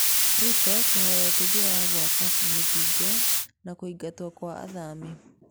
Rũto kũhoya ũteithio wa gũaka rũthingo na kũigatwo Kwa athami.